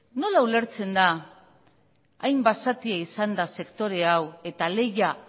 nola ulertzen da hain basatia izanda sektore hau eta lehia